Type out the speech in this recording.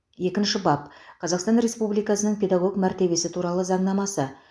екінші бап қазақстан республикасының педагог мәртебесі туралы заңнамасы